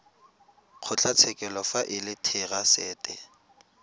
kgotlatshekelo fa e le therasete